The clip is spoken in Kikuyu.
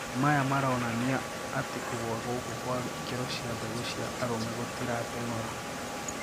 Maya maraonania ati kũgwa gũkũ kwa ikero cia mbegũ cia arume gutirateng'ora.